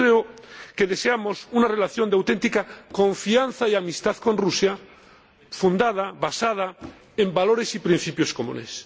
Yo creo que deseamos una relación de auténtica confianza y amistad con Rusia, basada en valores y principios comunes.